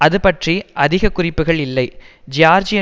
அது பற்றி அதிக குறிப்புக்கள் இல்லை ஜியார்ஜிய